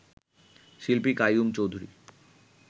শিল্পী কাইয়ুম চৌধুরী